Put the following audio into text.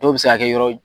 Dɔw bɛ se ka kɛ yɔrɔ